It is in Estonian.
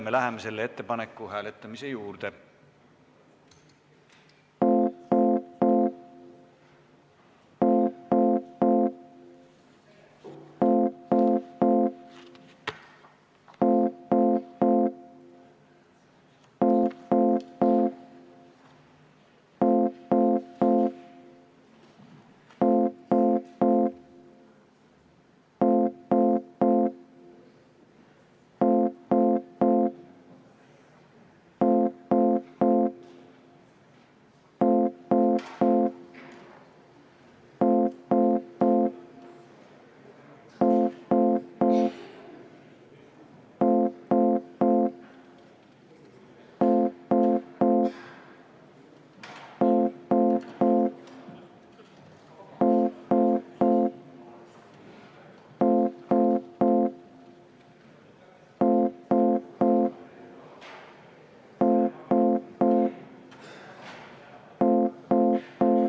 Me läheme selle ettepaneku hääletamise juurde.